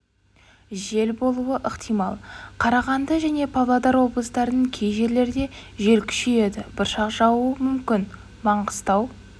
жел болуы ықтимал қарағанды және павлодар облыстарының кей жерлерде жел күшейеді бұршақ жаууы мүмкін маңғыстау